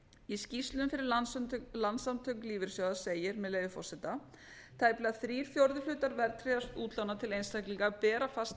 í skýrslunni fyrir landssamtök lífeyrissjóða segir með leyfi forseta tæplega þrír fjórðu hlutar verðtryggðra útlána til einstaklinga bera fasta